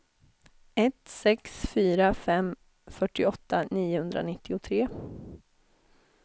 ett sex fyra fem fyrtioåtta niohundranittiotre